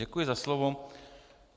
Děkuji za slovo.